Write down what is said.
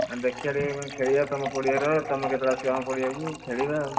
ଦେଖିଆ ଟିକେ ମାନେ ତମ ପଡିଆରେ ତମେ କେତେ ବେଳେ ଆସିବ ଆମ ପଡ଼ିଆକୁ, ଖେଳିବା ଆଉ।